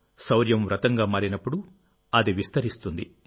శౌర్యం వ్రతంగా మారినప్పుడు అది విస్తరిస్తుంది